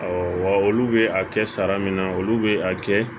wa olu bɛ a kɛ sara min na olu bɛ a kɛ